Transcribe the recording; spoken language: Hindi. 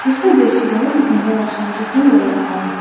यह दृश्य बहुत ही सुंदर और शांतिपूर्ण रहा है।